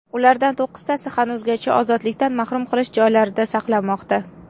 Ulardan to‘qqiztasi hanuzgacha ozodlikdan mahrum qilish joylaridan saqlanmoqda.